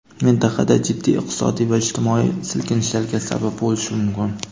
mintaqada jiddiy iqtisodiy va ijtimoiy silkinishlarga sabab bo‘lishi mumkin.